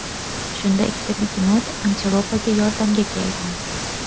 Shunda ikkita begemot antilopaga yordamga kelgan.